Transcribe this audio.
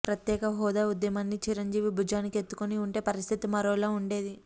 ప్రత్యేక హోదా ఉద్యమాన్ని చిరంజీవి భుజానికి ఎత్తుకుని ఉంటే పరిస్థితి మరోలా ఉండేది